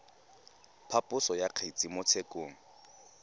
phaposo ya kgetse mo tshekong